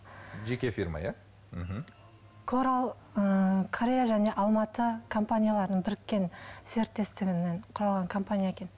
жеке фирма иә мхм корал ыыы корея және алматы компанияларының біріккен серіптестігінен құралған компания екен